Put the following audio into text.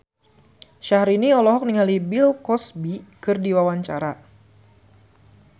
Syahrini olohok ningali Bill Cosby keur diwawancara